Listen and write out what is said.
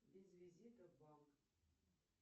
без визита в банк